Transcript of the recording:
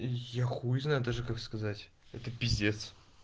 я хуй знает даже как сказать это пиздец